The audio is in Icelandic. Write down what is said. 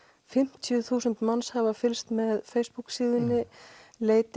fimmtíu þúsund manns hafa fylgst með Facebook síðunni leit